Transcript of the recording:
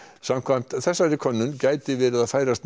samkvæmt þessari könnun gæti verið að færast